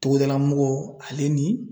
Togodala mɔgɔw ale ni